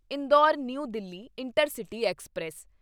Indore new Delhi intercity express